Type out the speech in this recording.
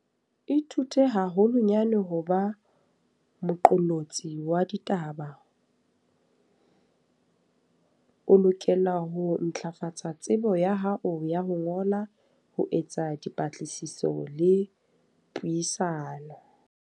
Ithute haholonyane ho ba moqollotsi wa ditaba. O lokela ho ntlafatsa tsebo ya hao ya ho ngola, ho etsa dipatlisiso le puisano.